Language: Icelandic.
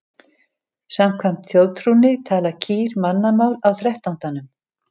Samkvæmt þjóðtrúnni tala kýr mannamál á þrettándanum.